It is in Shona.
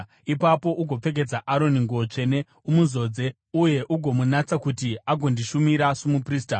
Ipapo ugopfekedza Aroni nguo tsvene, umuzodze uye ugomunatsa kuti agondishumira somuprista.